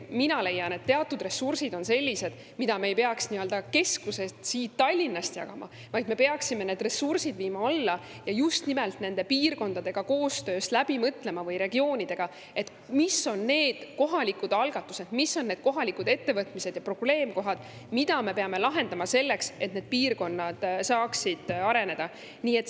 Mina leian, et teatud ressursid on sellised, mida me ei peaks keskusest, siit Tallinnast jagama, vaid me peaksime need ressursid viima alla ja just nimelt piirkondadega või regioonidega koostöös läbi mõtlema, mis on seal need kohalikud algatused ja kohalikud ettevõtmised, ning mis on need probleemkohad, mida me peame lahendama, et need piirkonnad saaksid areneda.